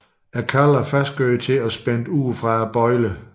Kalvene er fastgjort til og spændt ud fra bøjlerne